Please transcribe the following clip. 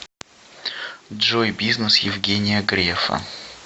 джой бизнес евгения грефа